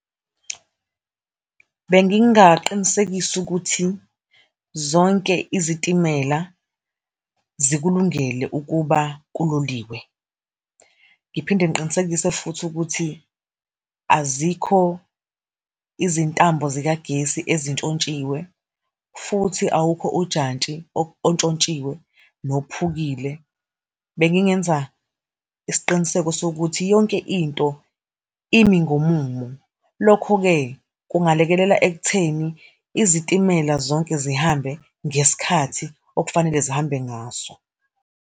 Bengingaqinisekisa ukuthi zonke izitimela zikulungele ukuba kuloliwe. Ngiphinde ngiqinisekise futhi ukuthi azikho izintambo zikagesi ezintshontshiwa, futhi awukho ujantshi ontshontshiwe nophukile. Bengingenza isiqiniseko sokuthi yonke into imi ngomumo. Lokho-ke, kungalekelela ekutheni izitimela zonke zihambe ngesikhathi okufanele zihambe ngaso.